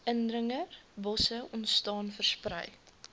indringerbosse ontstaan versprei